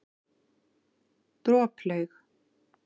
Droplaug